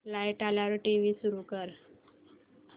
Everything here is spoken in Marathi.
लाइट आल्यावर टीव्ही सुरू कर